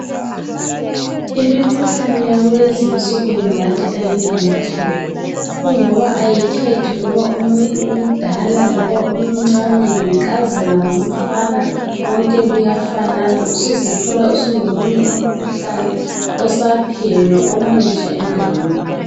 Imikhuhlane yakulezinsuku ngingathi ayilamahloni, kungoba ayikhethi iloba umuntu umdala loba umncane, yinkazana, ngumfana konke kuyafanana usuzithola usulomunye umkhuhlane osaphenywa omutsha endaweni.